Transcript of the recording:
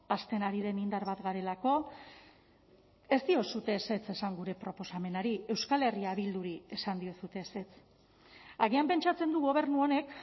hazten ari den indar bat garelako ez diozue ezetz esan gure proposamenari euskal herria bilduri esan diozue ezetz agian pentsatzen du gobernu honek